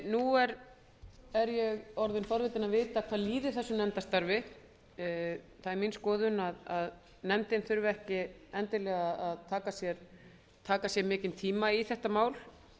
nú er ég orðin forvitin að vita hvað líði þessu nefndarstarfi það er mín skoðun að nefndin þurfi ekki endilega að taka sér mikinn tíma í þetta mál